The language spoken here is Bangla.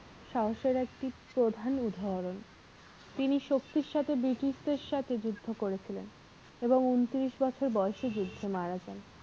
সাহসের একটি প্রধান উদাহরণ তিনি শক্তির সাথে british দের সাথে যুদ্ধ করেছিলেন এবং উন্তিরিশ বছর বয়সে যুদ্ধে মারা যান।